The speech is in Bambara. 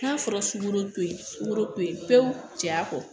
N'a fɔra sugoro to yen sukoro to yen pewu cɛ a kɔ